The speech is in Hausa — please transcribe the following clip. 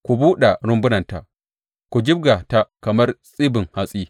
Ku buɗe rumbunanta; ku jibga ta kamar tsibin hatsi.